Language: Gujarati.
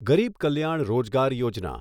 ગરીબ કલ્યાણ રોજગાર યોજના